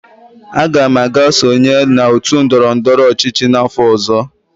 Aga m aga sonye n'otu ndọrọ ndọrọ ọchịchị n'afọ ọzọ.